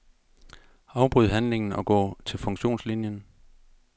Afbryd handlingen og gå til funktionslinien.